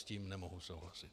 S tím nemohu souhlasit.